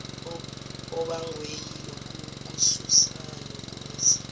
obangwe yilokukususa nokumisa